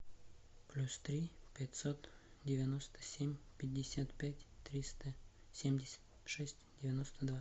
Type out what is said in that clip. плюс три пятьсот девяносто семь пятьдесят пять триста семьдесят шесть девяносто два